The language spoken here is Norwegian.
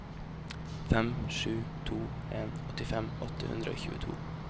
fem sju to en åttifem åtte hundre og tjueto